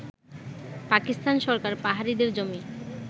পাকিস্তান সরকার পাহাড়িদের জমি